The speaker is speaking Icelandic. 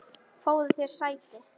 Fáðu þér sæti.